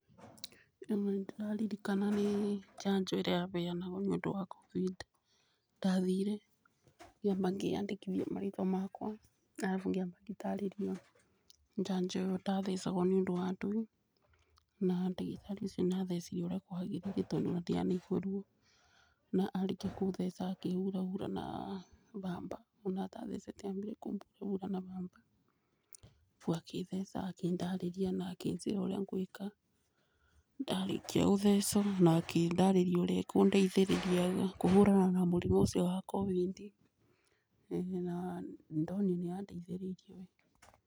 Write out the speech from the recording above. Ĩno nĩ ndĩrarĩrĩkana nĩ janjo ĩrĩa ya mbeanagũo nĩ ũndũ wa covĩd. Ndathĩrĩe ngĩamba kĩandĩkĩthĩa marĩtwa makwa arabũ ngĩamba ngĩtarerĩo janjo ndathecangũo nĩ ũndũ wa ndũĩe. Na ndagĩratĩ ũcĩo nĩathecĩre ũrĩa kwagereĩre tondũ ndĩagũrĩo rũo. Na arekĩa kũtheca akĩhũrahũra na bamba, ona ata thecetĩ ambĩre kũhũrahũra na bamba arabũ akĩtheca na akĩndarerĩa na akĩnjera ũrĩa ngũĩka. Ndarekĩa kũthecũwo na akĩndarerĩa ũrĩa ekũo ndeĩthererĩa kũhũrana na mũrĩmo ũcĩo wa covĩd na nĩndonĩre nĩ andeĩtherĩrĩe.